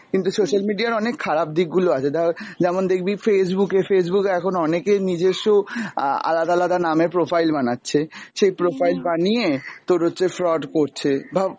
কিন্তু social media র অনেক খারাপ দিক গুলো আছে, ধর যেমন দেখবি Facebook এ Facebook এ এখন অনেকের নিজেস্ব আ~ আলাদা আলাদা নামে profile বানাচ্ছে, সেই profile বানিয়ে তোর হচ্ছে fraud করছে, ভাব